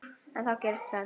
En þá gerist tvennt.